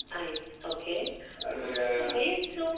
ಆಯಿತ್ okay ವಯಸ್ಸು?